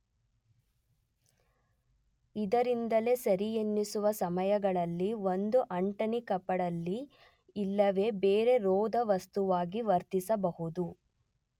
ಇದರಿಂದಲೇ ಸರಿಯೆನ್ನಿಸುವ ಸಮಯಗಳಲ್ಲಿ ಒಂದು ಅಂಟಣಿಕಪಡಲಿ ಇಲ್ಲವೇ ಬೇರೆ ರೋಧವಸ್ತುವಾಗಿ ವರ್ತಿಸಬಹುದು.